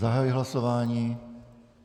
Zahajuji hlasování.